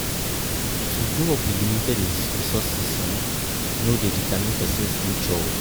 To grow up with limited resources um no de determine persin future